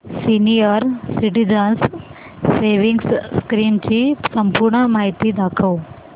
senior citizens savings scheme ची संपूर्ण माहिती दाखव